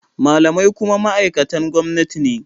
Malamai kuma ma’aikatan gwamnati ne.